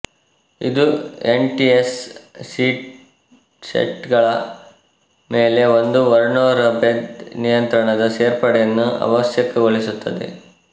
ಇದು N T S C set ಗಳ ಮೇಲೆ ಒಂದು ವರ್ಣೊ್ರಬೇಧ ನಿಯಂತ್ರಣದ ಸೇರ್ಪಡೆಯನ್ನು ಅವಶ್ಯಕಗೊಳಿಸುತ್ತದೆ